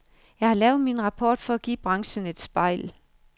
Jeg har lavet min rapport for at give branchen et spejl.